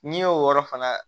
N'i y'o yɔrɔ fana